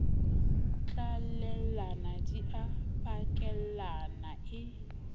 tlalellana di a pakellana e